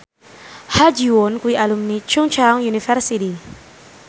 Ha Ji Won kuwi alumni Chungceong University